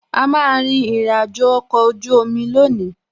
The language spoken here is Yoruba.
A má a rin ìrìnàjò ọkọ̀ ojú omi lónìí